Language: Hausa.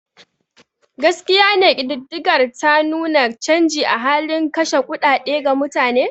Gaskiya ne kididdigar ta nuna canji a halin kashe kuɗaɗe ga mutane.